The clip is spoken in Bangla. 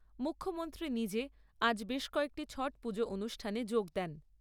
মুখ্যমন্ত্রী নিজে আজ বেশ কয়েকটি ছট পুজো অনুষ্ঠানে যোগ দেন।